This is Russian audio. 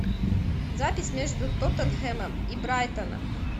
запись между тоттенхэмом и брайтоном